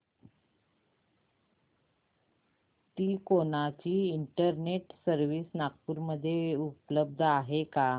तिकोना ची internet service Nagpur मध्ये उपलब्ध आहे का